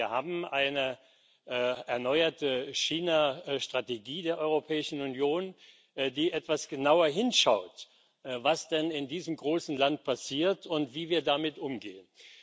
Wir haben eine erneuerte Chinastrategie der Europäischen Union, die etwas genauer hinschaut, was denn in diesem großen Land passiert und wie wir damit umgehen.